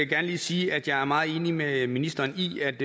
gerne lige sige at jeg er meget enig med ministeren i at